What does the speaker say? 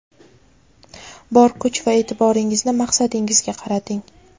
bor kuch va e’tiboringizni maqsadingizga qarating.